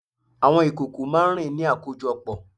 Àwọn ìkòkò máá ń rìn ní àkójọpọ̀